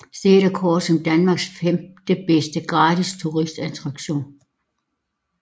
Stedet er kåret som Danmarks femtebedste gratis turistattraktion